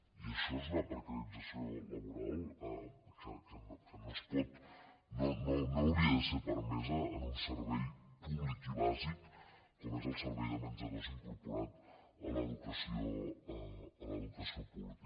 i això és una precarització laboral que no hauria de ser permesa en un servei públic i bàsic com és el servei de menjadors incorporat a l’educació pública